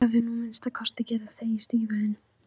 Og þú hefðir nú að minnsta kosti getað þvegið stígvélin.